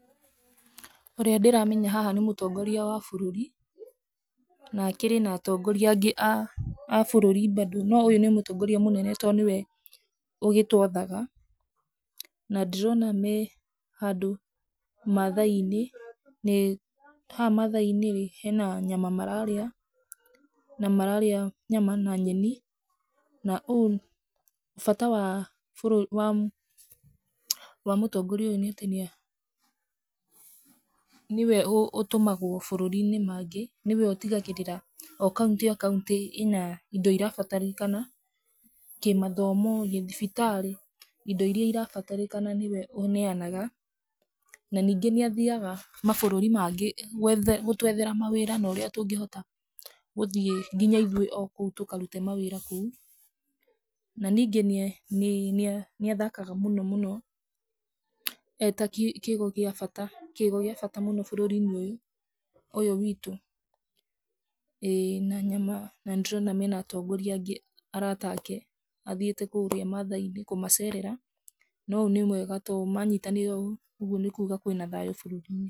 Ũrĩa ndĩramenya haha nĩ mũtongoria wa bũrũri, na akĩrĩ na atongoria angĩ a bũrũri bado, no ũyũ nĩ mũtongoria mũnene, tondũ nĩwe ũgĩ twathaga, na ndĩrona me handũ mathai-inĩ, haha mathai-inĩ he nyama mararĩa, na mararĩa nyama na nyeni, na ũũ, bata wa mũtongoria ũyũ, nĩ atĩ nĩwe ũtũmagwo mabũrũri-inĩ mangĩ, nĩwe ũtigagĩrĩra o kaũntĩ kaũntĩ ĩna indo irabatarĩkana, kĩ mathomo, kĩ thibitarĩ, indo iria irabatarĩkana nĩwe ũneanaga, na ningĩ nĩ athiaga mabũrũri mangĩ, gũtwethera ma wĩra na ũria tũngĩhota gũthiĩ nginya o ithuĩ o kũu tũkarute mawĩra kũu, na ningĩ nĩ nĩathakaga mũno mũno, eta kĩgo gĩa bata, kĩgo bata mũno bũrũri-inĩ ũyũ witũ, ĩĩ na nyama, na nĩtũrona me na atongoria angĩ arata ake, athiĩte kũrĩa mathai-inĩ kũmacerera na ũyũ nĩ mwega, tondũ manyitanĩire ũũ, ũguo nĩ kuga kwĩ na thayũ bũrũri-inĩ.